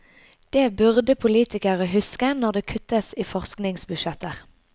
Det burde politikere huske når det kuttes i forskningsbudsjetter.